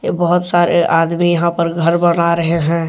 ये बहोत सारे आदमी यहां पर घर बना रहे हैं।